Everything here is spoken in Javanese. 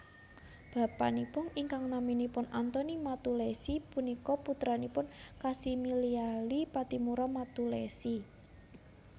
Bapanipun ingkang naminipun Antoni Mattulessy punika putranipun Kasimiliali Pattimura Mattulessy